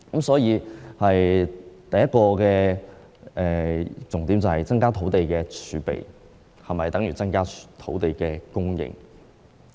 所以，第一個重點是增加土地儲備是否等於增加土地供應？